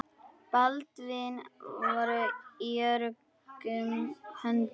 Baldvin var í öruggum höndum.